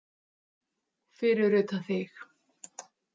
Fyrir utan þig.